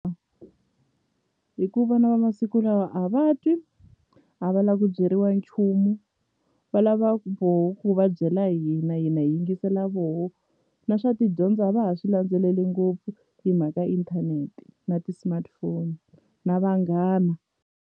Hi ku vana va masiku lawa a va twi a va la ku byeriwa nchumu va lava ku voho ku va byela hina hina hi yingisela voho na swa tidyondzo a va ha swi landzeleli ngopfu hi mhaka inthanete na ti-smartphone na vanghana.